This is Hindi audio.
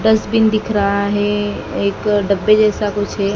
डस्टबिन दिख रहा है एक डब्बे जैसा कुछ है।